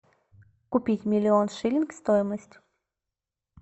купить миллион шиллинг стоимость